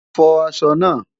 Fọ aṣọ náà!